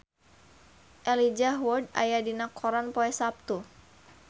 Elijah Wood aya dina koran poe Saptu